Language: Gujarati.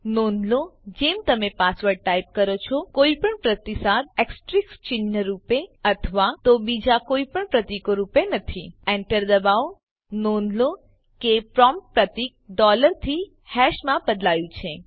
નોંધ લો જેમ તમે પાસવર્ડ ટાઈપ કરો છો કોઈપણ પ્રતિસાદ એસ્તરીક ચિહ્ન રૂપે અથવા તો બીજા કોઈ પ્રતીકો રૂપે નથી એન્ટર દબાવો નોંધ લો કે પ્રોમ્પ્ટ પ્રતીક ડોલર થી હેશ માં બદલાયું છે